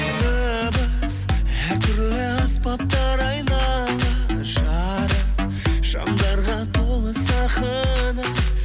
дыбыс әр түрлі аспаптар айнала жарық шамдарға толы сахна